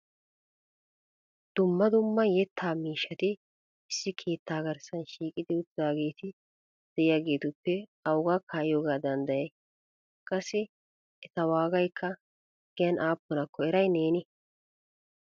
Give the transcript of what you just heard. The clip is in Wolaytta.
Dumma dumma yetta miishshati issi keetta garssa shiiqiti uttidaageeti de'iyaagetuppe awuga kaa'iyooga danddayya? qassi eta wagaykka giyan aappunakko eray neeni?